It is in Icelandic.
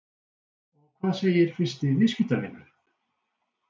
Og hvað segir fyrsti viðskiptavinurinn?